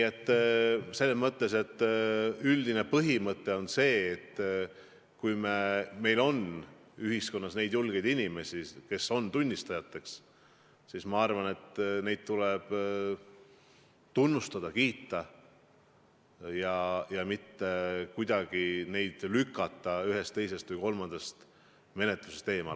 Aga üldine põhimõte on, et kui meil on ühiskonnas inimesi, kes julgevad tunnistada, siis neid tuleb tunnustada ja kiita, mitte kuidagi lükata neid ühest, teisest või kolmandast menetlusest eemale.